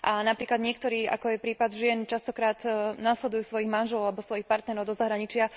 Napríklad niektorí, ako je prípad žien, často nasledujú svojich manželov alebo svojich partnerov do zahraničia.